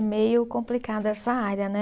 Meio complicado essa área, né?